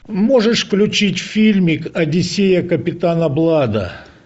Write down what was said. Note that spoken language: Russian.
можешь включить фильмик одиссея капитана блада